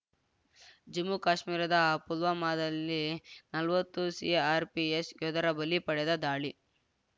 ಜಮ್ಮು ಕಾಶ್ಮೀರದ ಪುಲ್ವಾಮಾದಲ್ಲಿ ನಲ್ವತ್ತು ಸಿಆರ್‌ಪಿಎಫ್‌ ಯೋಧರ ಬಲಿ ಪಡೆದ ದಾಳಿ